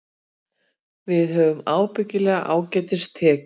Við höfum ábyggilega ágætis tekjur